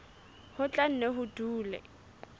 ho tla nne ho dule